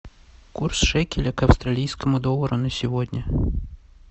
курс шекеля к австралийскому доллару на сегодня